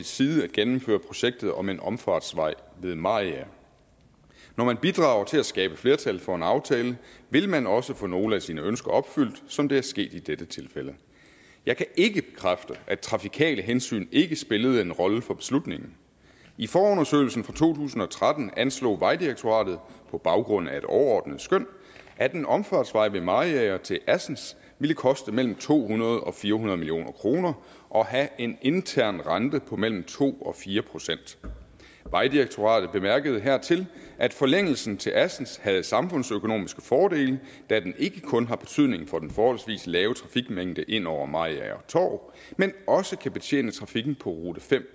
side at gennemføre projektet om en omfartsvej ved mariager når man bidrager til at skabe flertal for en aftale vil man også få nogle af sine ønsker opfyldt som det er sket i dette tilfælde jeg kan ikke bekræfte at trafikale hensyn ikke spillede en rolle for beslutningen i forundersøgelsen fra to tusind og tretten anslog vejdirektoratet på baggrund af et overordnet skøn at en omfartsvej ved mariager til assens ville koste mellem to hundrede og fire hundrede million kroner og have en intern rente på mellem to og fire procent vejdirektoratet bemærkede hertil at forlængelsen til assens havde en samfundsøkonomisk fordel da den ikke kun har betydning for den forholdsvis lave trafikmængde ind over mariager torv men også kan betjene trafikken på rute fem